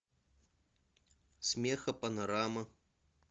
смехопанорама